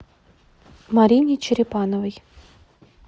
марине черепановой